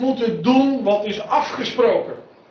We moeten doen wat is afgesproken.